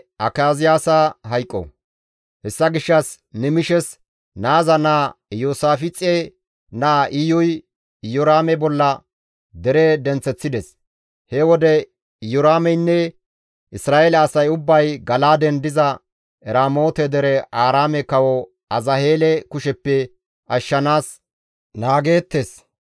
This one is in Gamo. Hessa gishshas Nimishes naaza naa Iyoosaafixe naa Iyuy Iyoraame bolla dere denththeththides. He wode Iyoraameynne Isra7eele asay ubbay Gala7aaden diza Eramoote dere Aaraame kawo Azaheele kusheppe ashshanaas naageettes.